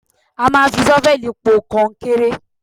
A. Máa ń fi ṣọ́fẹ̀lì po kọnkéré.